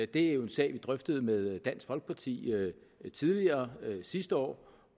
det er jo en sag vi drøftede med dansk folkeparti sidste år